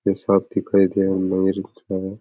वे साफ़ दिखाई दे रहे है।